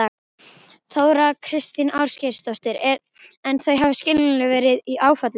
Þóra Kristín Ásgeirsdóttir: En þau hafa skiljanlega verið í áfalli?